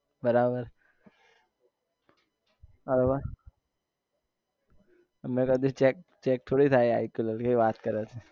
બરાબર બરાબર હવે મેં કદી check check થોડી થાય i q level કેવી વાત કરે છે